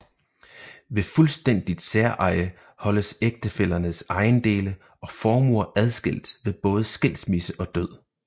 Ved fuldstændigt særeje holdes ægtefællernes ejendele og formuer adskilt ved både skilsmisse og død